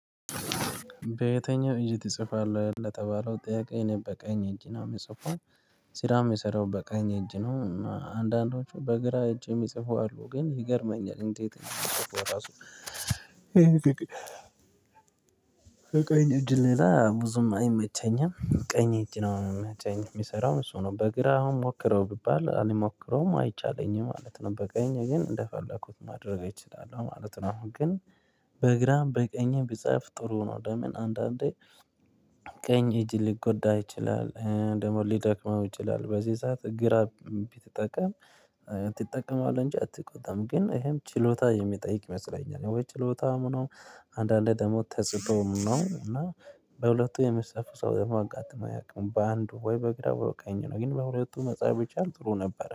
በየትኛው? እጅ ትጽፋለህ ለተባለው ጥያቄ እኔ በቀኝ እጅ ነው የምጽፈው። ስራም የምሰራው በቀኝ እጅ ነው እና አንዳንዶቹ በግራ እጅ የሚጽፉ አሉ ግን ይገርመኛል እንዴት እንደሚፅፉ ራሱ? ቀኝ እጅ ላይ ብዙም አይመቸኝም ቀኝ ነው የሚሰራው እሱ ነው በግራ አሁን ሞክረው ቢባል አልሞክረውም አይቻለኝም ማለት ነው። በቀኝ ግን እንደፈለኩት ማድረግ እችላለሁ ማለት ነው። አሁን ግን በግራም በቀኝም ቢጻፍ ጥሩ ነው። ለምን አንዳንዴ። ቀኝ እጅ ልጎዳ ይችላል ደግሞ ሊደክመው ይችላል። በዚህ ሰዓት ግራ ቢጠቀም ትጠቀማለህ እንጂ አትጎዳም። ግን ይሄም ችሎታ የሚጠይቅ ይመስለኛል ወይ ችሎታም ነው። አንዳንዴ ደግሞ ተሰጥቶም ነው እና። በሁለቱ የሚጽፉ ሰው ደግሞ አጋጥሞ አያውቅም በአንዱ ወይ በግራ በቀኝ ነው ግን በሁለቱ መጽሐፍ ብቻን ጥሩ ነበር